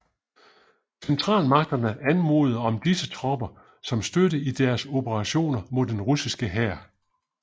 Centralmagterne anmodede om disse tropper som støtte i deres operationer mod den russiske hær